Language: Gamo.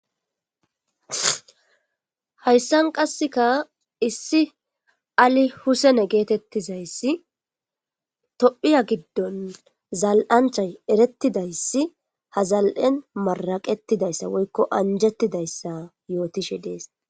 hayssan qasseka issi ali husene geetettizayssi tophiya giddon zal7anchay erettidayssi hazal7en maraqetidayssa woykko anjettidayssa yootishe dees